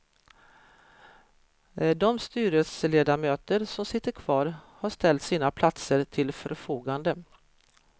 De styrelseledamöter som sitter kvar har ställt sina platser till förfogande.